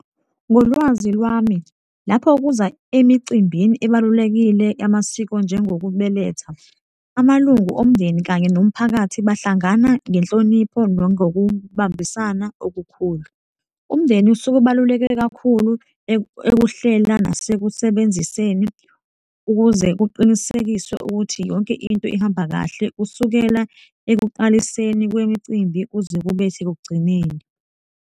Ngolwazi lwami lapho kuza emicimbini ebalulekile yamasiko njengokubeletha, amalungu omndeni kanye nomphakathi bahlangana ngenhlonipho nangokubambisana okukhulu. Umndeni usuke ubaluleke kakhulu ekuhlela nasekusebenziseni ukuze kuqinisekiswe ukuthi yonke into ihamba kahle kusukela ekuqaliseni kwemicimbi kuze kube sekugcineni.